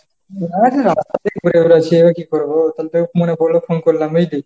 না না সকাল থেকে ঘুরে বেড়াচ্ছি, এবার কি করবো? তো তোকে মনে পড়লো phone করলাম বুঝলি।